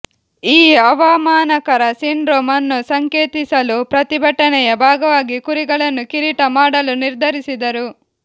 ಈ ಅವಮಾನಕರ ಸಿಂಡ್ರೋಮ್ ಅನ್ನು ಸಂಕೇತಿಸಲು ಪ್ರತಿಭಟನೆಯ ಭಾಗವಾಗಿ ಕುರಿಗಳನ್ನು ಕಿರೀಟ ಮಾಡಲು ನಿರ್ಧರಿಸಿದರು